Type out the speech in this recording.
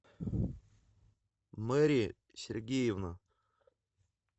мери сергеевна